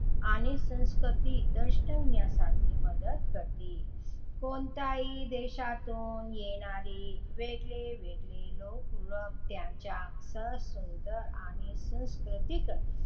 आणि संस्कृती दर्शविण्यासाठी मदत करते. कोणत्याही देशातून येणारे वेगळे वेगळे लोक व त्यांच्या सह सुंदर आणि सांस्कृतिक,